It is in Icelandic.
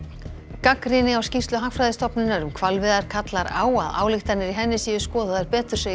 gagnrýni á skýrslu Hagfræðistofnunar um hvalveiðar kallar á að ályktanir í henni séu skoðaðar betur segir